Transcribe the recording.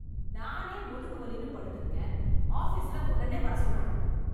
நானே முதுகு வலின்னு படுத்து இருக்கேன், ஆபிசில் உடனே வர சொல்றனுங்க.